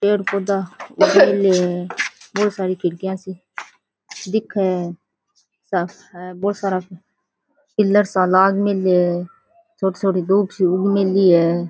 पेड़ पौधा उग मेल्या है बहुत सारी खिड़किया सी दिखे है सब है बहुत सारा पिलर सा लाग मेल्या है छोटी छोटी धूब सी उग मेली है।